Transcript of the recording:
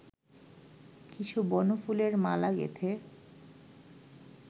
কিছু বনফুলের মালা গেঁথে